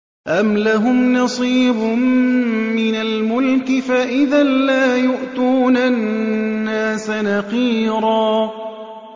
أَمْ لَهُمْ نَصِيبٌ مِّنَ الْمُلْكِ فَإِذًا لَّا يُؤْتُونَ النَّاسَ نَقِيرًا